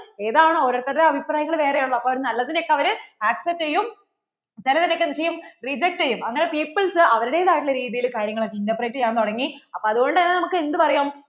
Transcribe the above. ഏതാണോ ഓരോരുത്തരുടെ അഭിപ്രായങ്ങൾ വേറേ ആണല്ലോ അപ്പോൾ അവര് നല്ലതിനെ ഒക്കെ അവർ accept ചെയ്യും ചിലതിനെ ഒക്കെ എന്ത് ചെയ്യും reject ചെയ്യും അങ്ങനെ peoples അവരുടേതായിട്ട് ഉള്ള രീതിയിൽ കാര്യങ്ങൾ ഒക്കെ interpret ചെയ്യാൻ തുടങ്ങി അപ്പോൾ അത്കൊണ്ട് തന്നേ നമുക്ക് എന്ത് പറയാം